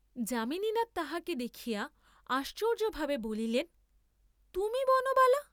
যামিনীনাথ তাহাকে দেখিয়া আশ্চর্য্য ভাবে বলিলেন তুমি বনবালা!